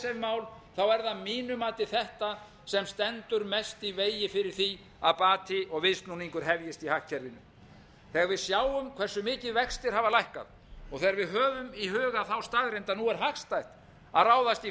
mál er það að mínu mati þetta sem stendur mest í vegi fyrir því að bati og viðsnúningur hefjist í hagkerfinu þegar við sjáum hversu mikið vextir hafa lækkað og þegar við höfum í huga þá staðreynd að nú er hagstætt að ráðast í